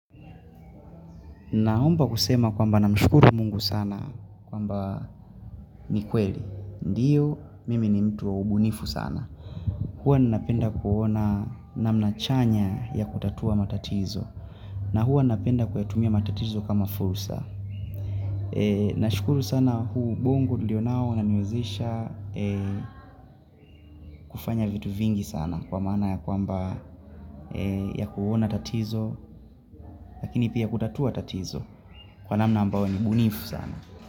Naomba kusema kwa mba na mshukuru mungu sana kwa mba ni kweli. Ndiyo, mimi ni mtu wa ubunifu sana. Kuwa nina penda kuona na mnachanya ya kutatua matatizo. Na huwa na penda kuyatumia matatizo kama fursa. Na shukuru sana huu ubongo nilio nao unaniwezesha kufanya vitu vingi sana. Kwa maana ya kwamba ya kuona tatizo lakini pia kutatua tatizo kwa na mna ambayo ni bunifu sana.